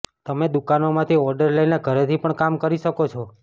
તમે દુકાનોમાંથી ઓર્ડર લઇને ઘરેથી પણ કામ શરુ કરી શકો છો